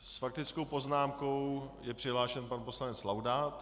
S faktickou poznámkou je přihlášen pan poslanec Laudát.